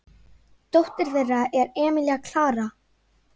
Dóttir þeirra er Emilía Klara.